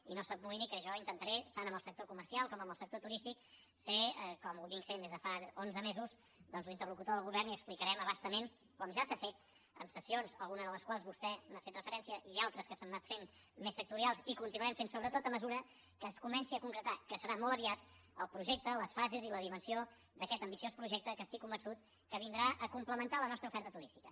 i no s’amoïni que jo intentaré tant amb el sector comercial com amb el sector turístic ser com ho sóc des de fa onze mesos doncs l’interlocutor del govern i explicarem a bastament com ja s’ha fet amb sessions a alguna de les quals hi ha fet vostè referència i altres que s’han anat fent més sectorials i ho continuarem fent sobretot a mesura que es comenci a concretar que serà molt aviat el projecte les fases i la dimensió d’aquest ambiciós projecte que estic convençut que vindrà a complementar la nostra oferta turística